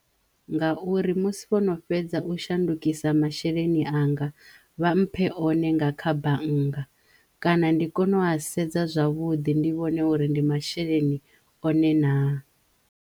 Ngauri musi vhono fhedza u shandukisa masheleni anga vha mphe one nga kha bannga kana ndi kono u a sedza zwavhuḓi ndi vhone uri ndi masheleni one naa.